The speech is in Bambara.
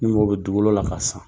Ni mɔgɔ bɛ dugukolo la